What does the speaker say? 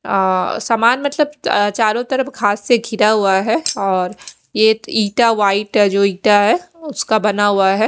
अ सामान मतलब चारो तरफ घास से घिरा हुआ है और यह इटा वाईट है जो इटा है उसका बना हुआ है।